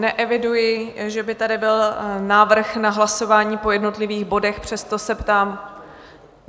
Neeviduji, že by tady byl návrh na hlasování po jednotlivých bodech, přesto se ptám.